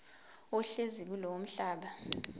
ohlezi kulowo mhlaba